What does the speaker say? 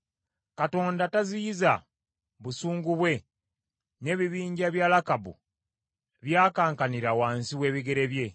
Katonda taziyiza busungu bwe; n’ebibinja bya Lakabu byakankanira wansi w’ebigere bye.